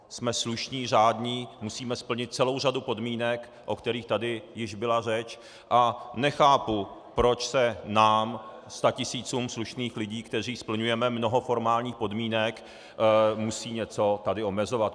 Jsme slušní, řádní, musíme splnit celou řadu podmínek, o kterých tady již byla řeč, a nechápu, proč se nám, statisícům slušných lidí, kteří splňujeme mnoho formálních podmínek, musí tady něco omezovat.